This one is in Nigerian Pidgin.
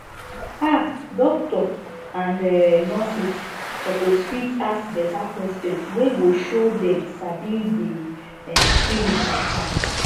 ah doctors and um nurses suppose fit ask beta questions wey go show dem sabi di um spirit matter